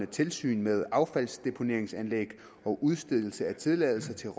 tilsyn med affaldsdeponeringsanlæg og udstedelse af tilladelse til